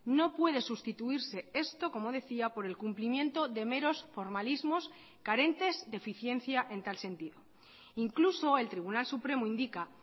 no puede sustituirse esto como decía por el cumplimiento de meros formalismos carentes de eficiencia en tal sentido incluso el tribunal supremo indica